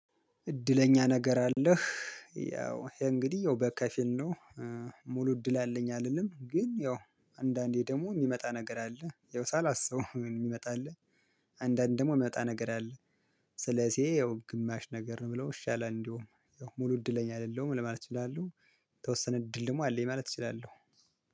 እድለኛ ነገር አለህ። ያው ይሄ እንግዲህ ያው በከፊል ነው። ሙሉ እድል አለኝ አልልም ግን ያው አንዳንዴ ደግሞ የሚመጣ ነገር አለ ያው ሳላስበው የሚመጣ አለ። አንዳንዴ ደግሞ የሚመጣ ነገር አለ። ስለዚህ ያው ግማሽ ነገር ነው ብለው ይሻላል እንዲሁ ያው ሙሉ እድለኛ አይደለሁም ለማለት እችላለሁ። የተወሰነ እድል ደግሞ አለኝ ማለት እችላለሁ